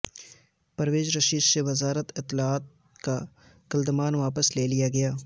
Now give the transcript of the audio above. پرویز رشید سے وزارت اطلاعات کا قلمدان واپس لے لیا گیا